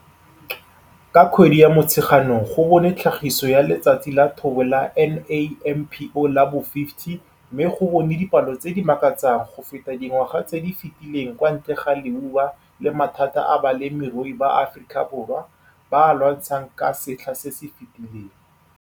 Ka kgwedi ya Motsheganong go bonwe tlhagiso ya Letsatsi la Thobo la NAMPO la bo50 mme go bonwe dipalo tse di makatsang go feta dingwaga tse di fetileng kwa ntle ga leuba le mathata a balemirui ba Afikaborwa ba a lwantshang ka setlha se se fetileng.